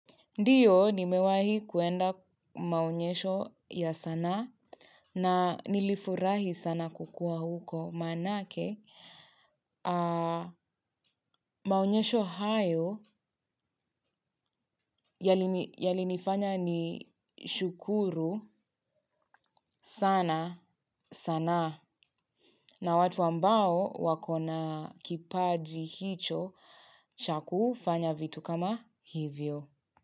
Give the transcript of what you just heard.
Ndiyo nimewahi kuenda maoyesho ya sanaa na nilifurahi sana kukua huko manake maonyesho hayo yali nifanya ni shukuru sana sanaa na watu ambao wakona kipaji hicho cha kufanya vitu kama hivyo.